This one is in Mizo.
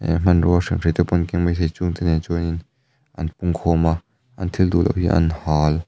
he hmanrua hriamhrei te pawh an keng maithei chung te nen chuan in an pung khawm a an thil duh loh hi an hâl.